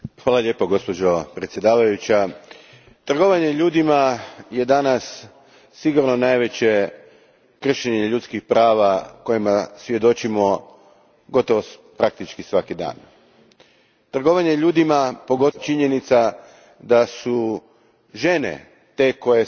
Gospođo predsjednice, trgovanje ljudima je danas sigurno najveće kršenje ljudskih prava kojemu svjedočimo praktički svaki dan. Trgovanje ljudima, pogotovo činjenica da su žene te koje su